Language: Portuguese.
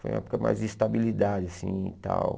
Foi a época mais de estabilidade assim e tal.